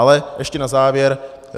Ale ještě na závěr.